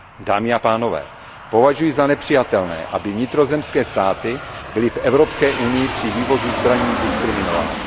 Dámy a pánové, považuji za nepřijatelné, aby vnitrozemské státy byly v Evropské unii při vývozu zbraní diskriminovány.